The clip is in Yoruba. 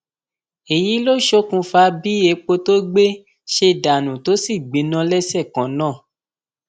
èyí ló ṣokùnfà bí epo tó gbé ṣe dànù tó sì gbiná lẹsẹ kan náà